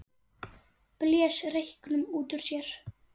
Blés reyknum út úr sér.